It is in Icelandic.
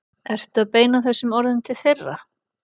Ertu að beina þessum orðum til þeirra?